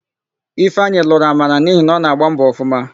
Ifeanyị lụrụ Amara n'ihi na ọ na-agbọ mbọ ọfụma.